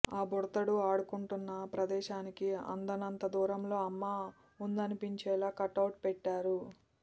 ఆ బుడతడు ఆడుకుంటున్న ప్రదేశానికి అందనంత దూరంలో అమ్మ ఉందనిపించేలా కటౌట్ పెట్టారు